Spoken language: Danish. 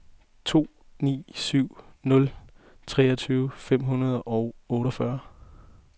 to ni syv nul treogtyve fem hundrede og otteogfyrre